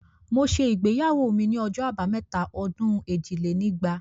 Mo ṣe ìgbéyàwó ni ọjọ́ abámẹ́ta ọdún èjì lé ní ẹgbàá